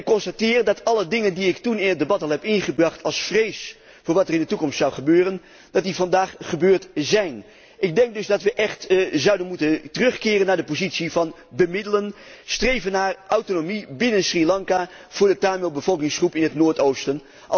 Ik constateer dat alle dingen die ik toen in het debat al heb ingebracht uit vrees voor wat er in de toekomst zou gebeuren, vandaag gebeurd zijn. Ik denk dus dat wij echt zouden moeten terugkeren naar de positie van bemiddelen en streven naar autonomie binnen Sri Lanka voor de Tamil bevolkingsgroep in het noordoosten.